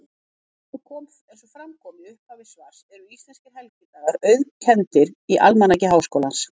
Eins og fram kom í upphafi svars eru íslenskir helgidagar auðkenndir í Almanaki Háskólans.